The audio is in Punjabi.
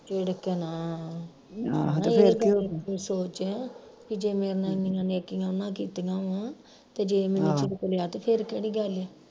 ਝਿੜਕਣਾ ਇਹ ਗੱਲ ਤੂੰ ਸੋਚ ਬਈ ਜੇ ਮੇਰੇ ਨਾਲ ਇੰਨੀਆਂ ਨੇਕੀਆਂ ਉਨ੍ਹਾਂ ਕੀਤੀਆਂ ਵਾ ਤੇ ਜੇ ਮੈਨੂੰ ਝਿੜਕ ਲਿਆ ਤੇ ਫਿਰ ਕਿਹੜੀ ਗੱਲ